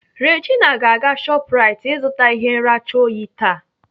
Regina ga-aga Shoprite ịzụta ihe nracha oyi taa.